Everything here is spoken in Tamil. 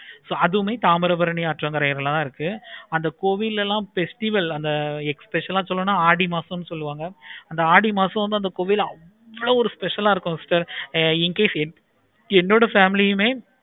so அதுமே தாமிரபரணி ஆற்றங்கரையில தான் இருக்கு. கோவிலை எல்லாம் festival அந்த especial ஆஹ் சொல்லனும்னா ஆடி மாசம் சொல்லுவாங்க. அந்த ஆடி மாசம் கோவில் அவ்வளோ ஒரு special ஆஹ் இருக்கும். incase என்னோட family க்கே